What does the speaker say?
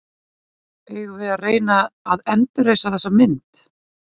Eigum við að reyna að endurreisa þessa mynd?